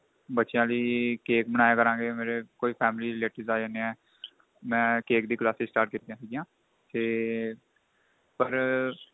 ਬੱਚਿਆਂ ਲਈ cake ਬਣਾਇਆ ਕਰਾਗੇ ਕੋਈ family relative ਆ ਜਾਂਦੇ ਏ ਮੈਂ cake ਈ classes start ਕੀਤੀਆ ਸੀਗੀਆ ਤੇ ਪਰ